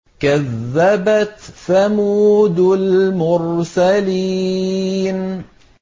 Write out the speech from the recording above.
كَذَّبَتْ ثَمُودُ الْمُرْسَلِينَ